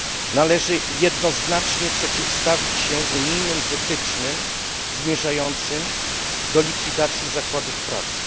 Należy jednoznacznie przeciwstawić się unijnym wytycznym zmierzającym do likwidacji zakładów pracy.